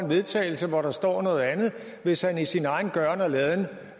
vedtagelse hvor der står noget andet hvis han i sin egen gøren og laden